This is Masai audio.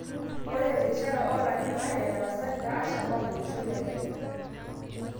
Ore terishata olarin are ,etarasakita Alshabaab olosho le Kenya.